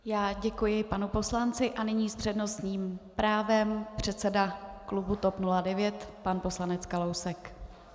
Já děkuji panu poslanci a nyní s přednostním právem předseda klubu TOP 09 pan poslanec Kalousek.